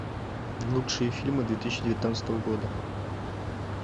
лучшие фильмы две тысячи девятнадцатого года